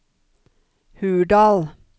Hurdal